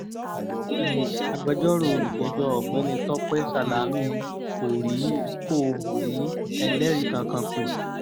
agbẹjọ́rò olùjẹ́jọ́ ọ̀gbẹ́ni tọ́pẹ́ sálámí kò rí kò rí ẹlẹ́rìí kankan pé